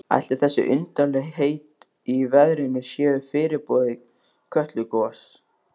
Ætli þessi undarlegheit í veðrinu séu fyrirboði Kötlugoss?